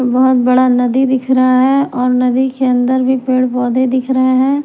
बहुत बड़ा नदी दिख रहा है और नदी के अंदर भी पेड़ पौधे दिख रहे हैं।